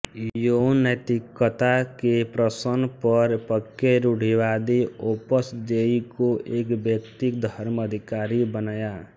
यौन नैतिकता के प्रशन पर पक्के रूढ़िवादी ओपस देई को एक वैयक्तिक धर्माधिकारी बनाया